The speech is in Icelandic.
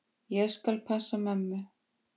Ég skal passa mömmu.